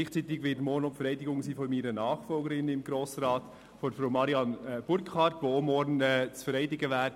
Gleichzeitig wird morgen auch die Vereidigung meiner Nachfolgerin im Grossen Rat, Frau Marianne Burkhard, stattfinden, die ebenfalls zu vereidigen ist.